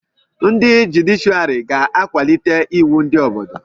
Ndị jụdịshịàrị ga-akwalite iwu ndị Obodo